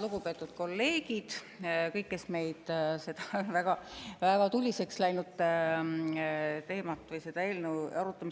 Lugupeetud kolleegid ja kõik, kes te seda väga tuliseks läinud teemat või selle eelnõu arutelu